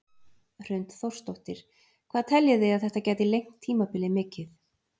Hrund Þórsdóttir: Hvað teljið þið að þetta gæti lengt tímabilið mikið?